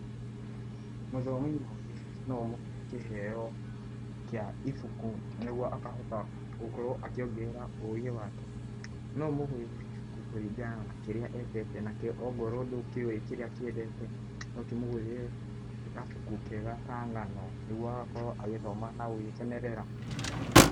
Mũthomi mũũgĩ no ũmũhe kĩheo kĩa ibuku nĩgũo akahota gũkorwo akĩongerera ũũgĩ wake .No ũmũgũrĩre ibuku kũringana na kĩrĩa endete .ongorwo ndũkĩũĩ kĩrĩa akĩendete no ũkĩ mũgũrĩre gabuku kega ka ng’ano nĩguo agakorwo agĩthoma na gũgĩkenerera.